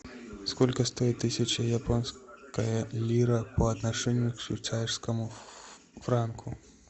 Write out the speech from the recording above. сколько стоит тысяча японская лира по отношению к швейцарскому франку